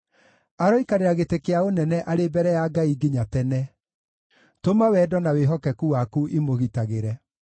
Aroikarĩra gĩtĩ kĩa ũnene arĩ mbere ya Ngai nginya tene; tũma wendo na wĩhokeku waku imũgitagĩre.